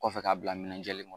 Kɔfɛ k'a bila minɛ jɛlen kɔnɔ.